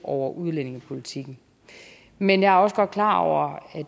over udlændingepolitikken men jeg er også godt klar over